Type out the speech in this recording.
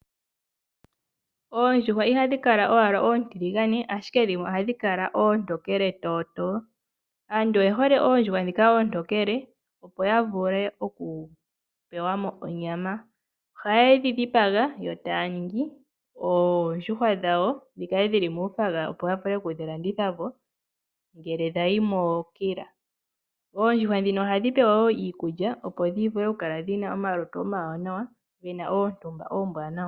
Oondjuhwa ihadhi kala owala oontiligane ashike dhimwe ohadhi kala oontokele tootoo .Aantu oyehole oondjuhwa ndhika oontokele opo yavule okupewamo onyama . Ohayedhi dhipaga yo taya ningi oondjuhwa dhawo dhikale dhili muu nayilona opo yavule okudhilandithapo ngele dhayi mookila. Oondjuhwa ndhino ohadhi pewa woo iikulya opo dhivule okukala dhina omalutu omawanawa gena oontumba oombwanawa.